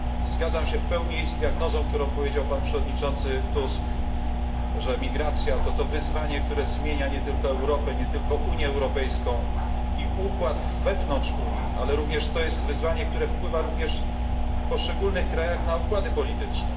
Zgadzam się w pełni z diagnozą, którą przedstawił przewodniczący Tusk, że emigracja jest wyzwaniem, które zmienia nie tylko Europę, nie tylko Unię Europejską i układ wewnątrz Unii, ale również wyzwaniem, które wpływa w poszczególnych krajach na układy polityczne.